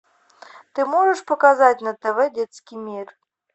ты можешь показать на тв детский мир